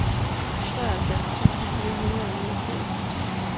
treoghalvfjerds tusind fire hundrede og niogfirs